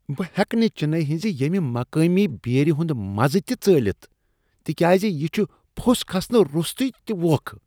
بہٕ ہیکہٕ نہٕ چنئی ہنزِ ییٚمہِ مقٲمی بیئرِ ہُند مزٕ تہِ ژٲلِتھ تِکیازِ یہِ چُھ پوژھ كھسنہٕ روستوے تہِ ووکھٕ۔